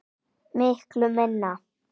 Miklu minna.